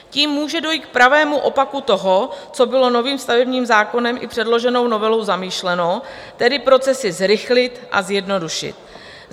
Tím může dojít k pravému opaku toho, co bylo novým stavebním zákonem i předloženou novelou zamýšleno, tedy procesy zrychlit a zjednodušit.